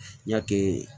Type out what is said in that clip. Ɲa kɛ